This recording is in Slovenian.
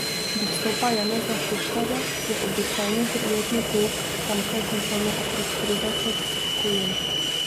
Do vstopa Janeza Šuštarja je običajni triletni pouk tamkaj končalo okrog trideset gojencev.